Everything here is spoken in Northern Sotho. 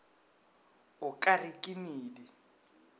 o ka re ke medi